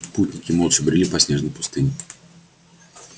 путники молча брели по снежной пустыне